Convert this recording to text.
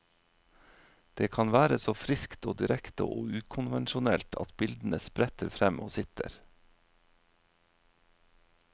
Det kan være så friskt og direkte og ukonvensjonelt at bildene spretter frem og sitter.